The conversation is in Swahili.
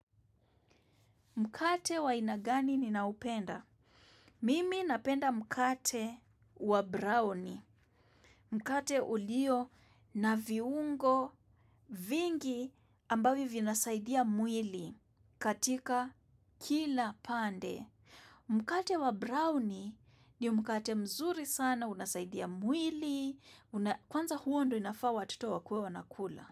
Mkate wa aina gani ninaupenda? Mimi napenda mkate wa brownie. Mkate ulio na viungo vingi ambavyo vinasaidia mwili katika kila pande. Mkate wa brownie ni mkate mzuri sana, unasaidia mwili, kwanza huo ndo inafaa watoto wakuwe wanakula.